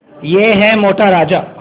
यह है मोटा राजा